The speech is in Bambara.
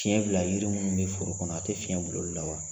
Tiɲɛ bila yiri minnu bɛ foro kɔnɔ a tɛ fiyɛn bil'olu la wa?